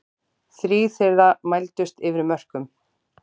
Þrír þeirra mældust yfir mörkum